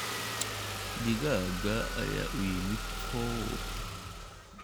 Digaagga ayaa u yimid coop.